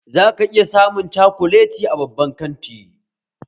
Zaka iya samun cokolati a babban kanti